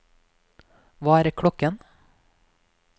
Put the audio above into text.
hva er klokken